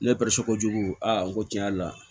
Ne ko jugu a n ko tiɲɛ yɛrɛ la